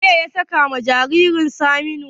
Wanene ya sakawa jaririn Saminu?